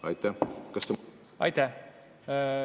Aitäh!